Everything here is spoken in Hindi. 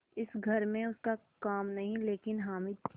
इस घर में उसका काम नहीं लेकिन हामिद